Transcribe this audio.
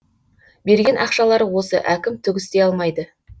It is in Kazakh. берген ақшалары осы әкім түк істей алмайды